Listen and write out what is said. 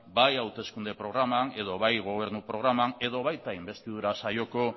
bai hauteskunde programan edo bai gobernu programan edo baita inbestidura saioko